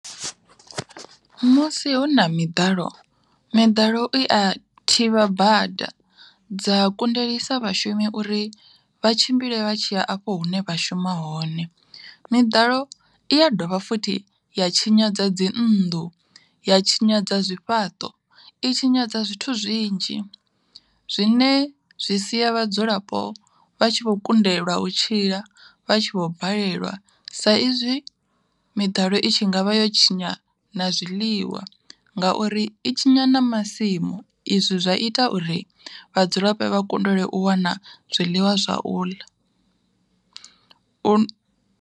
Musi huna miḓalo, miḓalo i a thivha bada dza kundelisa vhashumi uri, vha tshimbile vha tshiya afho hune vha shuma hone. Miḓalo i a dovha futhi ya tshinyadza dzi nnḓu, ya tshinyadza zwifhaṱo, i tshinyadza zwithu zwinzhi zwine zwi sia vhadzulapo vha tshi vho kundelwa u tshila vha tshi vho balelwa sa izwi miḓalo i tshi ngavha yo tshinya na zwiḽiwa, ngauri i tshinya na masimu izwi zwa ita uri vhadzulapo vha kundelwe u wana zwiḽiwa zwauḽa